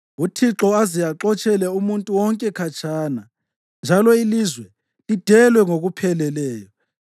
uThixo aze axotshele umuntu wonke khatshana njalo ilizwe lidelwe ngokupheleleyo.